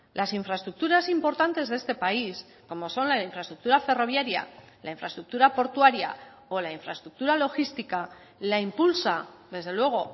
las infraestructuras importantes de este país como son la infraestructura ferroviaria la infraestructura portuaria o la infraestructura logística la impulsa desde luego